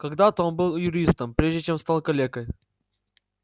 когда-то он был юристом прежде чем стал калекой